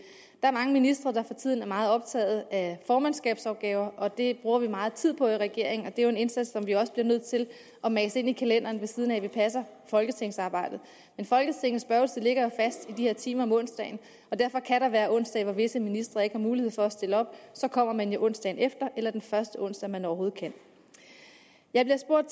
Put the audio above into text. er mange ministre der for tiden er meget optaget af formandskabsopgaver det bruger vi meget tid på i regeringen og det er jo en indsats som vi også bliver nødt til at mase ind i kalenderen ved siden af at vi passer folketingsarbejdet men folketingets spørgetid ligger fast i de her timer om onsdagen og derfor kan der være onsdage hvor visse ministre ikke har mulighed for at stille op så kommer man onsdagen efter eller den første onsdag man overhovedet kan jeg bliver spurgt